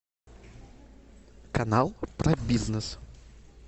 канал про бизнес